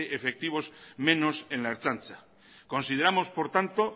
efectivos menos en la ertzaintza consideramos por tanto